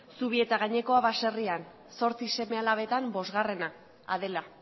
zubietagainekoa baserrian zortzi seme alabetan bosgarrena adela